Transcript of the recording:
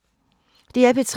DR P3